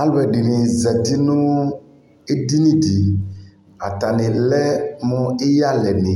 Alʋɛdini zati nʋ edini dι Atani lɛ ni iyalɛ ni